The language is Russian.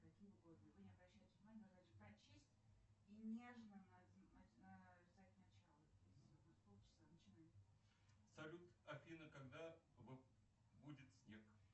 салют афина когда будет снег